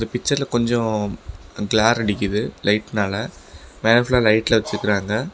பிச்சர்ல கொஞ்சோ கிளார் அடிக்குது லைட்னால லைட்லா வெச்சுருக்கறாங்க.